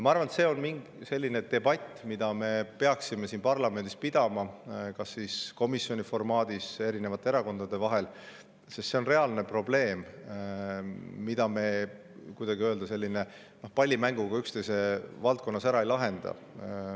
Ma arvan, et see on debatt, mida me peaksime siin parlamendis pidama kas komisjonis või erinevate erakondade vahel, sest see on reaalne probleem, mida me pallimänguga üksteise valdkonnas ära ei lahenda.